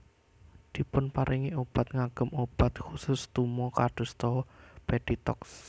Dipun paringi obat ngagem obat khusus tuma kadosta peditox